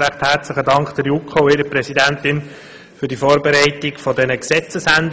herzlichen Dank an die JuKo und ihre Präsidentin für das Vorbereiten dieser Gesetzesänderungen.